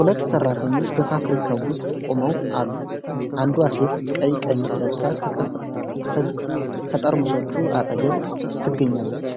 ሁለት ሰራተኞች በፋብሪካው ውስጥ ቆመው አሉ፤ አንዷ ሴት ቀይ ቀሚስ ለብሳ ከጠርሙሶቹ አጠገብ ትገኛለች።